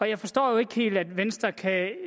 jeg forstår jo ikke helt at venstre kan